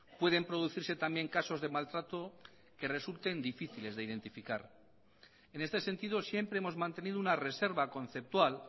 pueden producirse también casos de maltrato que resulten difíciles de identificar en este sentido siempre hemos mantenido una reserva conceptual